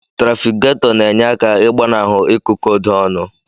Trafikgator na enye aka igbanahu ikụkodo ọnụ.